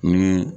Ni